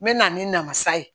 N bɛ na ni namasa ye